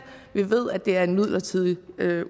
vi ved at det er en midlertidig